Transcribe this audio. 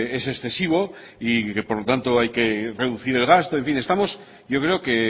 es excesivo y que por lo tanto hay que reducir el gasto en fin estamos yo creo que